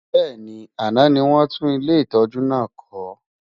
Bẹ́ẹ̀ni, àná ni wọ́n tún ilé ìtọ́jú náà kọ́.